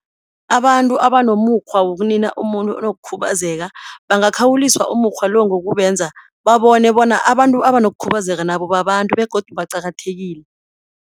Abantu abanomukghwa wokunina umuntu onokukhubazeka bangakhawuliswa umukghwa lo ngokubenza babone bona abantu abanokukhubazeka nabo babantu begodu baqakathekile.